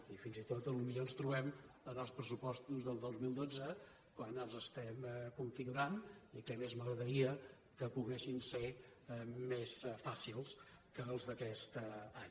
i fins i tot potser ens trobem en els pressupostos del dos mil dotze quan els estem configurant i què més m’agradaria que poguessin ser més fàcils que els d’aquest any